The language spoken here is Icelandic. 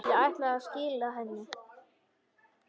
Ég ætlaði að skila henni.